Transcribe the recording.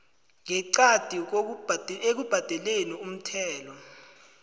ngeqadi ekubhadeleni umthelo